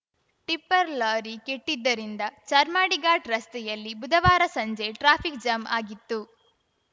tipper lorry ಕೆಟ್ಟಿದ್ದರಿಂದ ಚಾರ್ಮಾಡಿ ಘಾಟ್‌ ರಸ್ತೆಯಲ್ಲಿ ಬುಧವಾರ ಸಂಜೆ ಟ್ರಾಫಿಕ್‌ ಜಾಮ್‌ ಆಗಿತ್ತು